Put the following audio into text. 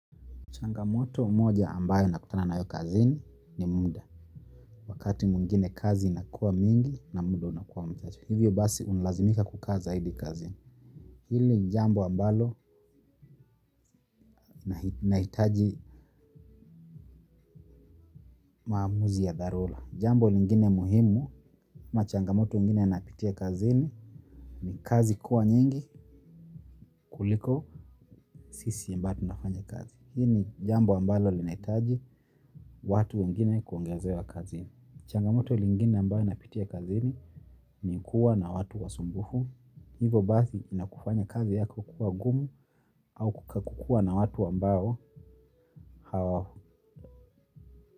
Changamoto moja ambayo nakutana nayo kazini ni muda. Wakati mwingine kazi inakua mingi na muda unakua mchache. Hivyo basi unalazimika kukaa zaidi kazini. Hili jambo ambalo nahitaji maamuzi ya darura. Jambo lingine muhimu ama changamoto mwingine nayqpitia kazini ni kazi kuwa nyingi kuliko sisi ambaye tunafanya kazi. Hii ni jambo ambalo linahitaji watu wengine kuongezewa kazini. Changamoto lingine ambao napitia kazini ni kuwa na watu wasumbufu, hivo basi inakufanya kazi yako kuwa gumu au kukakua na watu ambao hawa.